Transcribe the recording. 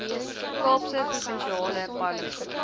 kaapse provinsiale parlement